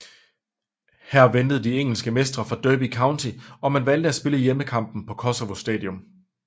Her ventede de engelske mestre fra Derby County og man valgte at spille hjemmekampen på Koševo stadion